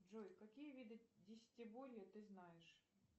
джой какие виды десятиборья ты знаешь